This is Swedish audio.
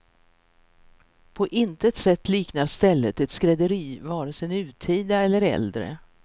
På intet sätt liknar stället ett skrädderi, vare sig nutida eller äldre.